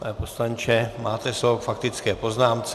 Pane poslanče, máte slovo k faktické poznámce.